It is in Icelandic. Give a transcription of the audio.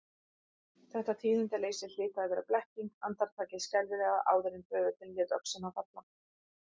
Þetta tíðindaleysi hlyti að vera blekking, andartakið skelfilega áður en böðullinn léti öxina falla.